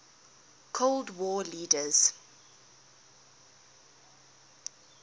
cold war leaders